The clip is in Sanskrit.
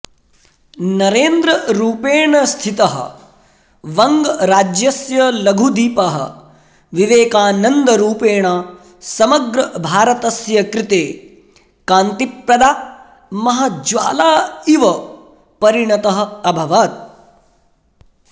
नरेन्द्ररूपेण स्थितः वङ्गराज्यस्य लघुदीपः विवेकानन्दरूपेण समग्रभारतस्य कृते कान्तिप्रदा महाज्वाला इव परिणतः अभवत्